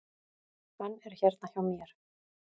Hann er hérna hjá mér.